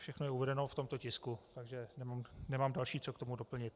Všechno je uvedeno v tomto tisku, takže nemám další, co k tomu doplnit.